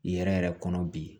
Yɛrɛ yɛrɛ kɔnɔ bi